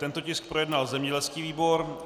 Tento tisk projednal zemědělský výbor.